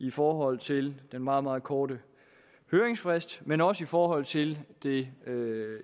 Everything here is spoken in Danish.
i forhold til den meget meget korte høringsfrist men også i forhold til det